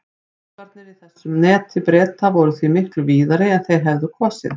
Möskvarnir í þessu neti Breta voru því miklu víðari en þeir hefðu kosið.